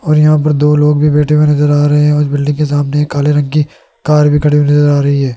और यहां पर दो लोग भी बैठे हुए नजर आ रहे है उस बिल्डिंग के सामने काले रंग की कार खड़ी हुई नजर आ रही है।